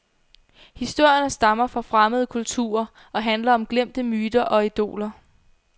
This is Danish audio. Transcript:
Historierne stammer fra fremmede kulturer og handler om glemte myter og idoler.